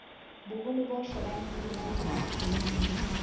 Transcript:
boholo bo shebaneng le balemi